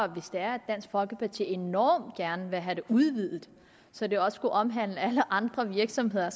er at dansk folkeparti enormt gerne vil have det udvidet så det også skulle omhandle alle andre virksomheder